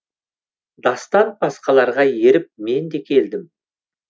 дастан басқаларға еріп мен де келдім